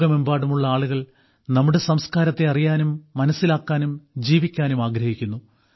ലോകമെമ്പാടുമുള്ള ആളുകൾ നമ്മുടെ സംസ്ക്കാരത്തെ അറിയാനും മനസ്സിലാക്കാനും ജീവിക്കാനും ആഗ്രഹിക്കുന്നു